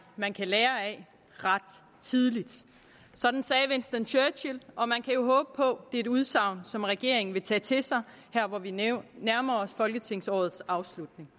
man kan lære af ret tidligt sådan sagde winston churchill og man kan jo håbe på et udsagn som regeringen vil tage til sig her hvor vi nærmer nærmer os folketingsårets afslutning